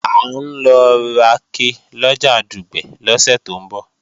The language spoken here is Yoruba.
À ń lọ rake lọjà Dùgbẹ̀ lọ́sẹ̀ tó ń bọ̀